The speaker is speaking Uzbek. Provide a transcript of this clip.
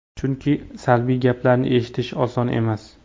Chunki salbiy gaplarni eshitish oson emas.